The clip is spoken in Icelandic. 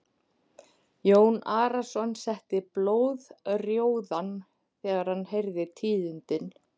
Jón Arason setti blóðrjóðan þegar hann heyrði tíðindin.